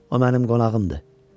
O mənim qonağımdır.